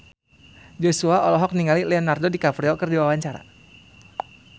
Joshua olohok ningali Leonardo DiCaprio keur diwawancara